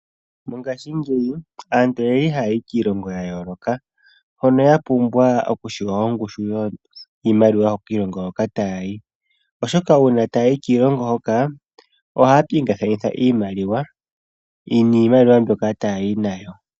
Mongaashingeyi aantu oyeli haya yi kiilongo ya yooloka hono ya pumbwa okutseya ongushu yiimaliwa yokiilongo hoka taya yi, oshoka uuna taya yi kiilongo hoka ohaya pingakanitha iimaliwa niimaliwa mbyoka taya yi nawo.